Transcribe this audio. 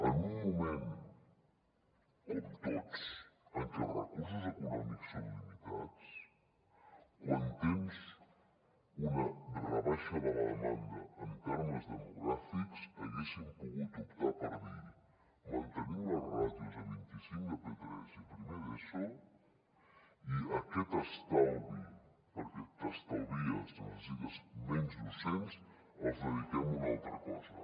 en un moment com tots en què els recursos econòmics són limitats quan tens una rebaixa de la demanda en termes demogràfics haguéssim pogut optar per dir mantenim les ràtios a vint i cinc a p3 i a primer d’eso i aquest estalvi perquè t’estalvies necessites menys docents el dediquem a una altra cosa